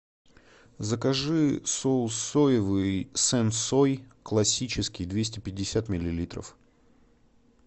закажи соус соевый сэн сой классический двести пятьдесят миллилитров